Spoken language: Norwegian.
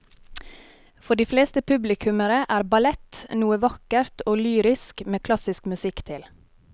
For de fleste publikummere er ballett noe vakkert og lyrisk med klassisk musikk til.